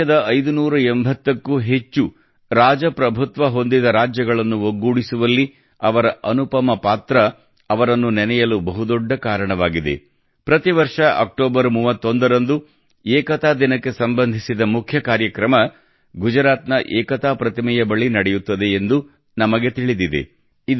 ದೇಶದ 580 ಕ್ಕೂ ಹೆಚ್ಚು ರಾಜಪ್ರಭುತ್ವ ಹೊಂದಿದ ರಾಜ್ಯಗಳನ್ನು ಒಗ್ಗೂಡಿಸುವಲ್ಲಿ ಅವರ ಅನುಪಮ ಪಾತ್ರ ಅವರನ್ನು ನೆನೆಯಲು ಬಹುದೊಡ್ಡ ಕಾರಣವಾಗಿದೆ ಪ್ರತಿ ವರ್ಷ ಅಕ್ಟೋಬರ್ 31 ರಂದು ಏಕತಾ ದಿನಕ್ಕೆ ಸಂಬಂಧಿಸಿದ ಮುಖ್ಯ ಕಾರ್ಯಕ್ರಮವು ಗುಜರಾತ್ನ ಏಕತಾ ಪ್ರತಿಮೆಯ ಬಳಿ ನಡೆಯುತ್ತದೆ ಎಂದು ನಮಗೆ ತಿಳಿದಿದೆ